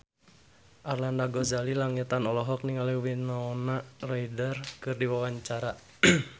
Arlanda Ghazali Langitan olohok ningali Winona Ryder keur diwawancara